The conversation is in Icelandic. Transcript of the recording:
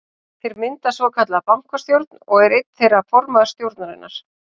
Þeir mynda svokallaða bankastjórn og er einn þeirra formaður stjórnarinnar.